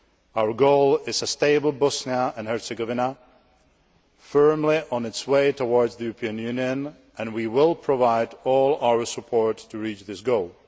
Our goal is a stable Bosnia and Herzegovina, firmly on its way towards the European Union, and we will provide all our support to reach this goal.